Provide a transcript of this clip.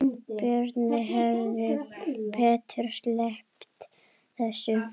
Björn hefði betur sleppt þessu.